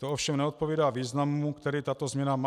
To ovšem neodpovídá významu, který tato změna má.